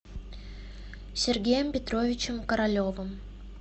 сергеем петровичем королевым